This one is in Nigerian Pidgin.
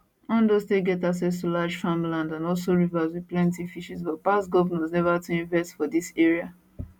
ondo state get access to large farmlands and also rivers wit plenti fishes but past govnors neva too invest for dis area